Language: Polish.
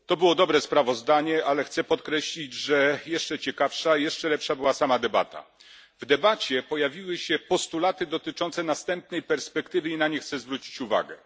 Panie Przewodniczący! To było dobre sprawozdanie, ale chcę podkreślić, że jeszcze ciekawsza, jeszcze lepsza była sama debata. W debacie pojawiły się postulaty dotyczące następnej perspektywy i na nie chcę zwrócić uwagę.